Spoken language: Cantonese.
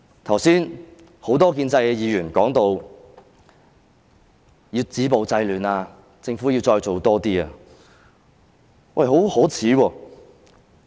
剛才，很多建制派議員談到要止暴制亂，說政府須再多做一點。